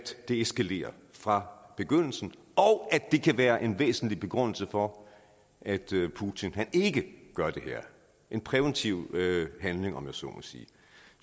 det eskalerer fra begyndelsen og at det kan være en væsentlig begrundelse for at putin ikke gør det her en præventiv handling om jeg så må sige